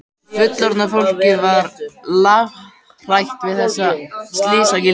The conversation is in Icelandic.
Fullorðna fólkið var lafhrætt við þessa slysagildru.